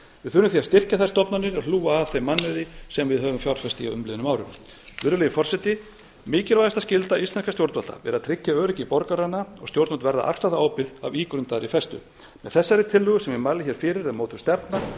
því að styrkja þær stofnanir og hlúa að þeim mannauði sem við höfum fjárfest í á umliðnum árum virðulegi forseti mikilvægasta skylda íslenskra stjórnvalda er að tryggja öryggi borgaranna og stjórnvöld verða alltaf ábyrg af ígrundaðri festu með þessari tillögu sem ég mæli hér fyrir er mótuð stefna